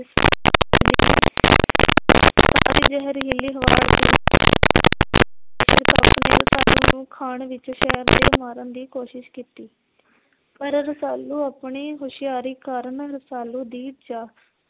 ਨੂੰ ਖਾਣ ਵਿੱਚ ਜ਼ਹਿਰ ਦੇ ਮਾਰਨ ਦੀ ਕੋਸ਼ਿਸ਼ ਕੀਤੀ। ਪਰ ਰਸਾਲੂ ਆਪਣੀ ਹੁਸ਼ਿਆਰੀ ਕਾਰਨ ਰਸਾਲੂ ਦੀ ਜਾ